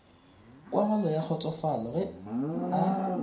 kwagalo ya kgotsofalo ge a